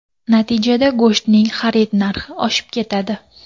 Natijada go‘shtning xarid narxi oshib ketadi.